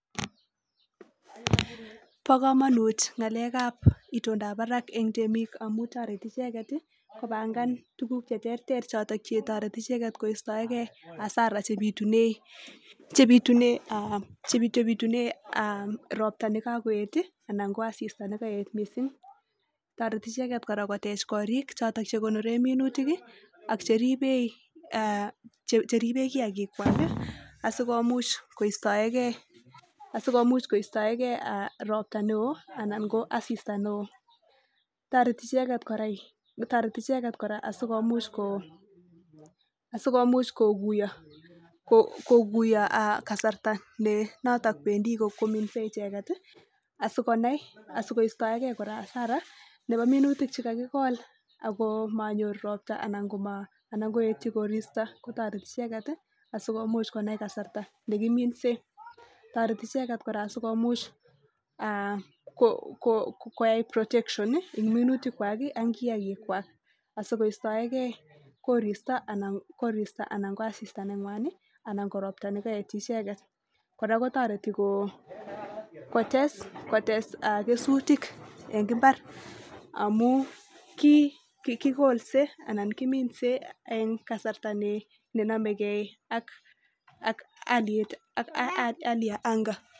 Ba kamanut ngalek ab itondo ab Barak en temik amun tareti icheket kobangan tuguk cheterter choton chetareti icheket kostaengei Asara chebitunei robta nekakoet anan ko asista nekaet mising tareti icheket koteche korik choton chekonoren minutik ak cheribei kiyagik chwak asikomuch koistaegei robta neon anan ko asista neon tareti icheket koraa asikomuch koguiyos kasarta nenoto kwendi kominse icheket asikonai asikosteigei Nebo minutik chekakikol akomanyor robta anan koyetui koristo kotareti icheket sikomuch konai kasarta nekiminsentareti icheket kora sikomuch koyai protection en minutik akiyaikchwak sikoistaengei koristo anan koasista nengwan anan korobta nekaetyi icheket koraa kotareti kotes kesutik en imbar amun kolikolse anan kimine en kasarta nenamegei ak aliet ab anga